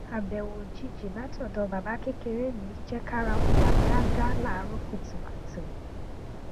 abẹwo ojiji lati ọdọ baba kekere mi jẹ kara o ya gaga laaarọ kutukutu